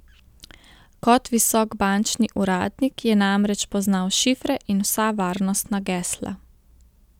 Kot visok bančni uradnik je namreč poznal šifre in vsa varnostna gesla.